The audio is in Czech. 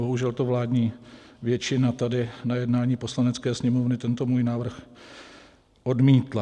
Bohužel to vládní většina tady na jednání Poslanecké sněmovny tento můj návrh odmítla.